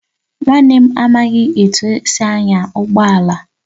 Nwanne m amaghị etu esi anya ụgbọ ala